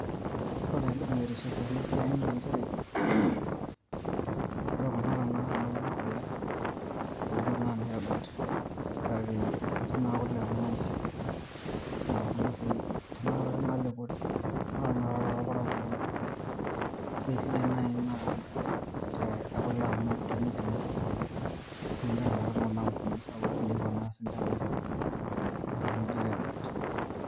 Ooore entoki naitiship teena siai naa inchere clears throat oore kuna tena kaata naa kule, hoo duo tenaa [cs[yoghurt[sc] kake etii naa kule kuna oo nkishu aah kuna ooshi nalepori naa oore tenaikata eena torparakuo naa embaye eena sidai oleng amuu teneinche naa duo etumi kule niaku oore kuna ampunini sapuki nepuo naa ninche aitaunyie entoki naijo [cs[yoghurt.